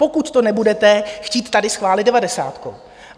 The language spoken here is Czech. Pokud to nebudete chtít tady schválit devadesátkou.